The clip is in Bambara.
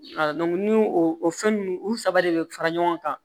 ni o o fɛn nunnu u saba de bɛ fara ɲɔgɔn kan